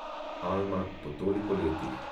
Alma, po toliko letih.